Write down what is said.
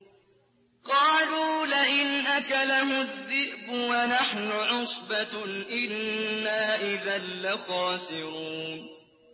قَالُوا لَئِنْ أَكَلَهُ الذِّئْبُ وَنَحْنُ عُصْبَةٌ إِنَّا إِذًا لَّخَاسِرُونَ